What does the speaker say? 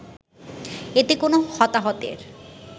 এতে কোনো হতাহতের